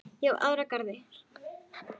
Ég á aðrar jarðir.